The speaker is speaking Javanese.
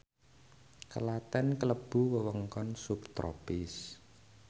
Klaten klebu wewengkon subtropis